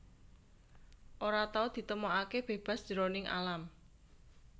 Ora tau ditemokaké bébas jroning alam